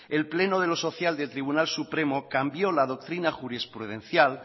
el pleno de lo social del tribunal supremo cambió la doctrina jurisprudencial